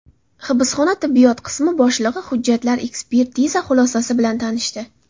Hibsxona tibbiyot qismi boshlig‘i hujjatlar, ekspertiza xulosasi bilan tanishdi.